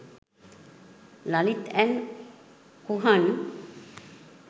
lalith and kuhan